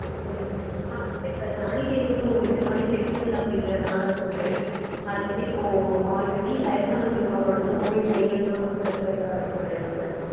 சரிங்க sir ஆனா இப்போ sanitizer ஒரு விதமான chemical அப்டீங்கறதனால வந்து, அது வந்து இப்போ already வயசானவங்களுக்கு அவங்களோட தோல் கைகல்லாம் வந்து ரொம்ப இதா இருக்கும் இல்லையா sir?